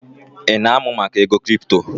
Ị na-amụ maka ego kripto?